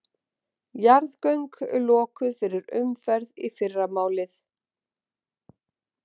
Jarðgöng lokuð fyrir umferð í fyrramálið